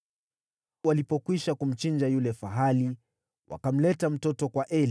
Walipokwisha kumchinja yule fahali, wakamleta mtoto kwa Eli,